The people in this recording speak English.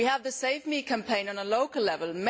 We have the Save Me' campaign at a local level.